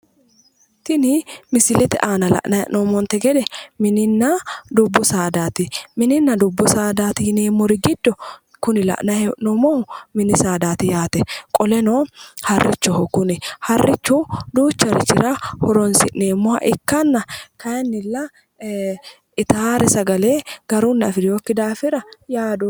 tini misilete aana la'nanni hee'noommonte gede mininna dubbu saadaati mininna dubbu saadaati yineemmori giddo kuni la'nanni hee'noommohu mini saadaati yaate qoleno harrichoho kuni harrichu duuchurira horonsi'neemmoha ikkanna kayiinnilla itaare sagale garunni afirinokki daafira yaadoomma.